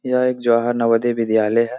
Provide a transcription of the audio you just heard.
यह एक जवाहर नवोदय विद्यालय है।